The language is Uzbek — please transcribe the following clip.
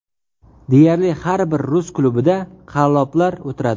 Deyarli har bir rus klubida qalloblar o‘tiradi.